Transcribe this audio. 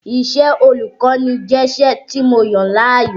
Iṣẹ́ ọlùkọ́ni jẹ́ iṣẹ́ tí mo yàn láàyò